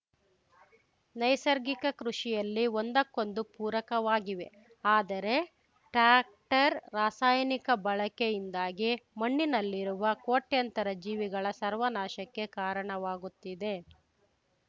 ನೈಸರ್ಗಿಕ ಕೃಷಿಯಲ್ಲಿ ಒಂದಕ್ಕೊಂದು ಪೂರಕವಾಗಿವೆ ಆದರೆ ಟ್ರ್ಯಾಕ್ಟರ್‌ ರಾಸಾಯನಿಕ ಬಳಕೆಯಿಂದಾಗಿ ಮಣ್ಣಿನಲ್ಲಿರುವ ಕೋಟ್ಯಂತರ ಜೀವಿಗಳ ಸರ್ವನಾಶಕ್ಕೆ ಕಾರಣವಾಗುತ್ತಿದೆ